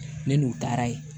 Ne n'u taara ye